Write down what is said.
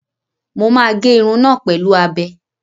Mo máa gé irun náà pẹ̀lú abẹ.